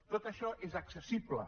tot això és accessible